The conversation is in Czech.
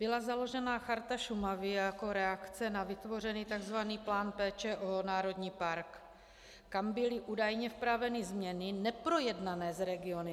Byla založena Charta Šumavy jako reakce na vytvořený tzv. plán péče o národní park, kam byly údajně vpraveny změny neprojednané s regiony.